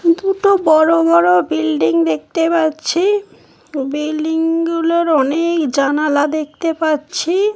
দুটো বড়ো বড়ো বিল্ডিং দেখতে পাচ্ছি বিল্ডিং গুলোর অনেক জানালা দেখতে পাচ্ছি।